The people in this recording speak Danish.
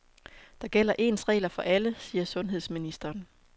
Der gælder ens regler for alle, siger sundhedsministeren.